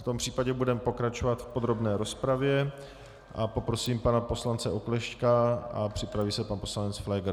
V tom případě budeme pokračovat v podrobné rozpravě a poprosím pana poslance Oklešťka a připraví se pan poslanec Pfléger.